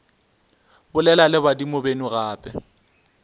bolela le badimo beno gape